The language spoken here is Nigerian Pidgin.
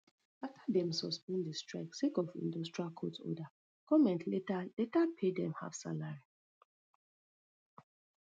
afta dem suspend di strike sake of industrial court order goment later later pay dem halfsalary